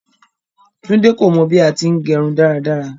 Tunde kò mọ bí à ti ń gẹrún daradara.